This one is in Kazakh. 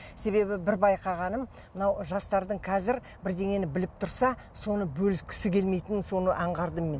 себебі бір байқағаным мынау жастардың қазір бірдеңені біліп тұрса соны бөліскісі келмейтінін соны анғардым мен